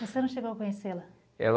Você não chegou a conhecê-la? Ela